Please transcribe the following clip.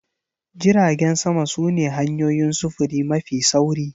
Jiragen sama su ne hanyoyin sufuri mafi sauri.